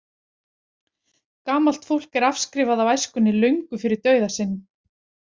Gamalt fólk er afskrifað af æskunni löngu fyrir dauða sinn.